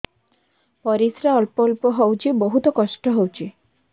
ପରିଶ୍ରା ଅଳ୍ପ ଅଳ୍ପ ହଉଚି ବହୁତ କଷ୍ଟ ହଉଚି